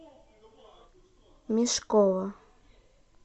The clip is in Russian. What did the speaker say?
мешкова